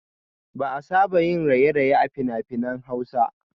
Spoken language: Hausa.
Ba a saba yin raye-raye a fina-finan hausa